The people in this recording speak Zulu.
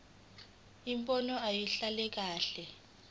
imibono ayibhaliwe kahle